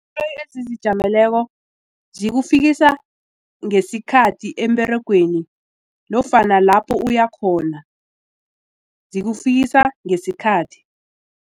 zikufikisa ngesikhathi emberegweni nofana lapho uyakhona zikufikisa ngesikhathi.